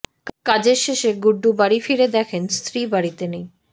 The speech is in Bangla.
কাজের শেষে গুড্ডু বাড়ি ফিরে দেখেন স্ত্রী বাড়িতে নেই